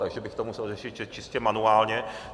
takže bych to musel řešit čistě manuálně.